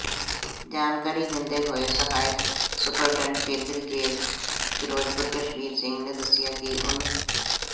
ਜਾਣਕਾਰੀ ਦਿੰਦੇ ਹੋਏ ਸਹਾਇਕ ਸੁਪਰਡੈਂਟ ਕੇਂਦਰੀ ਜੇਲ੍ਹ ਫਿਰੋਜ਼ਪੁਰ ਕਸ਼ਮੀਰ ਸਿੰਘ ਨੇ ਦੱਸਿਆ ਕਿ ਉਨ੍ਹ